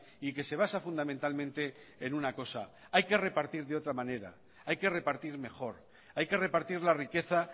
y que se basa fundamentalmente en una cosa hay que repartir de otra manera hay que repartir mejor hay que repartir la riqueza